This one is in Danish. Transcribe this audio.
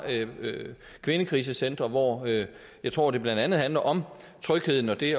kvindekrisecentre hvor jeg tror det blandt andet handler om trygheden og det